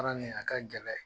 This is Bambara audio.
Baara nin a ka gɛlɛn